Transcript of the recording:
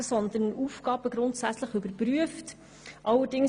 Vielmehr sollten Aufgaben grundsätzlich überprüft werden.